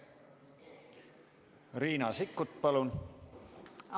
Riina Sikkut, palun!